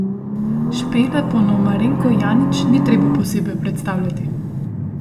Špele Ponomarenko Janić ni treba posebej predstavljati.